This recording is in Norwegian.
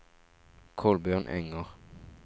Kolbjørn Enger